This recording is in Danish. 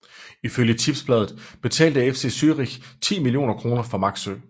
Ifølge Tipsbladet betalte FC Zürich ti millioner kroner for Maxsø